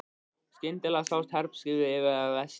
Skyndilega sást herskipi bregða fyrir í vestri.